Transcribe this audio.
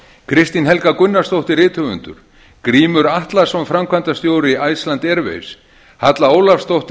kristín helga gunnarsdóttir rithöfundur grímur atlason framkvæmdastjóri iceland airwaves halla ólafsdóttir